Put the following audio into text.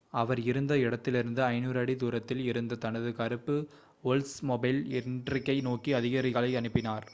அவர் இருந்த இடத்திலிருந்து 500 அடி தூரத்தில் இருந்த தனது கருப்பு ஓல்ட்ஸ்மொபைல் இண்ட்ரிக்கை நோக்கி அதிகாரிகளை அனுப்பினார்